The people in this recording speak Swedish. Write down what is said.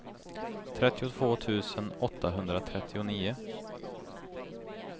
trettiotvå tusen åttahundratrettionio